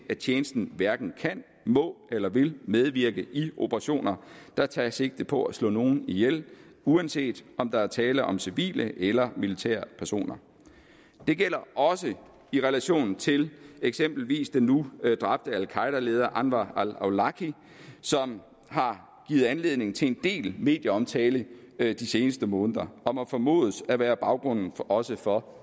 tjenesten hverken kan må eller vil medvirke i operationer der tager sigte på at slå nogen ihjel uanset om der er tale om civile eller militære personer det gælder også i relation til eksempelvis den nu dræbte al qaeda leder anwar al awlaki som har givet anledning til en del medieomtale de seneste måneder og må formodes at være baggrunden også for